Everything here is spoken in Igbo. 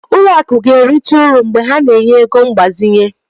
Ụlọ akụ ga-erite uru mgbe ha na-enye ego mgbazinye.